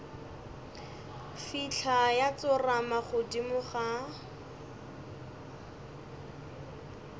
fihla ya tsorama godimo ga